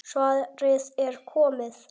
Svarið er komið.